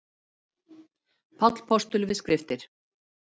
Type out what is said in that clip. Páll postuli við skriftir.